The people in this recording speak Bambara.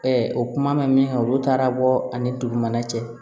o kuma bɛ min kan olu taara bɔ ani dugumana cɛ